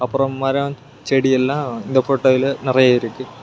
அப்ரோ மரோ செடியெல்லாம் இந்த ஃபோட்டோயில நறைய இருக்கு.